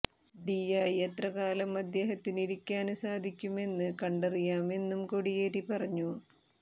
ഡിയായി എത്ര കാലം അദ്ദേഹത്തിന് ഇരിക്കാന് സാധിക്കുമെന്ന് കണ്ടറിയാമെന്നും കോടിയേരി പറഞ്ഞു